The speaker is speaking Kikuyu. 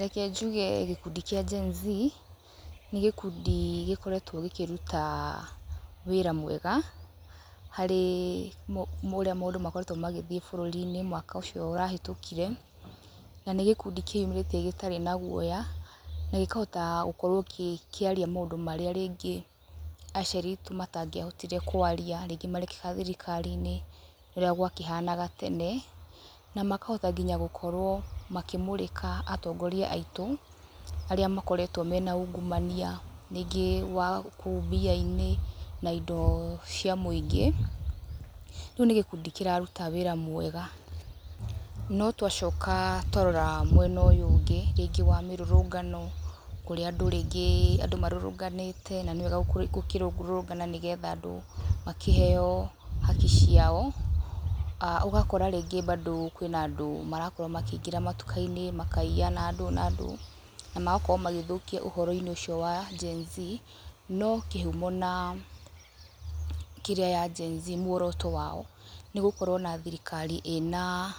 Reke njuge gĩkundi kĩa Gen-Z, nĩ gĩkundi gĩkoretwo gĩkúruta wĩra mwega harĩ ũrĩa maũndũ makoretwo magĩthiĩ burũri-inĩ mwaka ũcio ũrahĩtũkire. Na nĩ gĩkundi kĩyumĩrĩtie gĩtarĩ na guoya na gĩkahota gũkorwo gĩkĩaria maũndũ marĩa rĩngĩ aciari aitũ matangĩahotire kwaria, rĩngi marekĩka thirikari-inĩ ũrĩa gwakĩhanaga tena. Na makahota nginya gũkorwo makĩmũrĩka atongoria aitũ arĩa makoretwo mena ungumania rĩngĩ wa kũu mbia-inĩ na indo cia mũingĩ. Rĩu nĩ gĩkundi kĩraruta wĩra mwega. No twacoka twarora mwena ũyũ ũngĩ, rĩngĩ wa mĩrũrũngano ũrĩa andũ rĩngĩ marũrũnganĩte, na nĩ wega gũkĩrũrũngana nĩgetha andũ makĩheo haki ciao, ũgakora rĩngĩ bado kwĩna andũ marakorwo makĩingira matuka-inĩ makaiya na ndũ na ndũ, na magakorwo magĩthũkia ũhoro-inĩ ũcio wa Gen-Z. No kĩhumo na kĩrĩa ya Gen-Z muoroto wao nĩ gũkorwo na thirikari ĩna